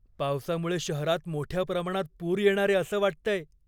पावसामुळे शहरात मोठ्या प्रमाणात पूर येणारे असं वाटतंय.